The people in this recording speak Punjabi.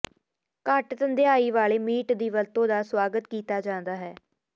ਘੱਟ ਥੰਧਿਆਈ ਵਾਲੇ ਮੀਟ ਦੀ ਵਰਤੋਂ ਦਾ ਸੁਆਗਤ ਕੀਤਾ ਜਾਂਦਾ ਹੈ